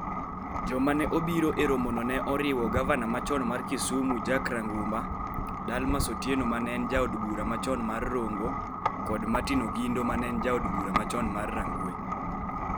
Joma ne obiro e romono ne oriwo gavana machon mar Kisumu Jack Ranguma, Dalmas Otieno ma ne en Jaod Bura machon mar Rongo kod Martin Ogindo ma ne en Jaod Bura machon mar Rangwe.